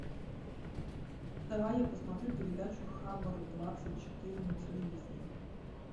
давай я посмотрю передачу хабар двадцать четыре на телевизоре